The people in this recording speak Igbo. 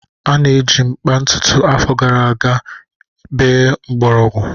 A na-eji mkpa ọtụtụ afọ gara aga bee mgborogwu.